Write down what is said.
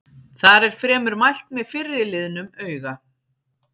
Þar er fremur mælt með fyrri liðnum auga-.